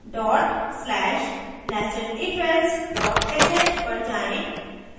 dot slash nestedifelse sh पर जाएँ